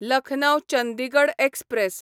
Lucknow Chandigarh express